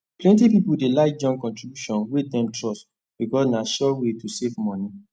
plenty people dey like join contribution wey dem trust because na sure way to save money